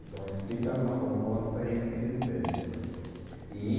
Então, explica uma forma ou outra para eles que eles entende, e